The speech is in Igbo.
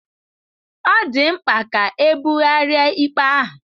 Ọ dị mkpa ka ebugharịa ikpe ahụ.